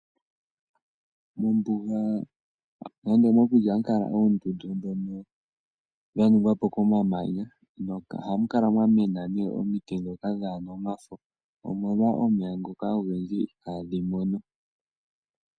Mombuga nande mokuti ohamu kala oondundu ndhono dha ningwa po komamanya ohamu kala mwamwena omiti dhoka dhaana omafo omolwa omeya ngoka ogendji ihaa dhi mono.